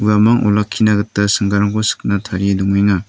uamang olakkina gita singgarangko sikna tarie dong·enga.